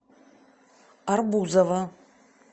арбузова